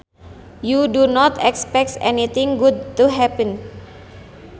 You do not expect anything good to happen